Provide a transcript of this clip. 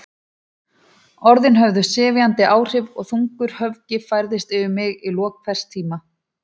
Orðin höfðu sefjandi áhrif og þungur höfgi færðist yfir mig í lok hvers tíma.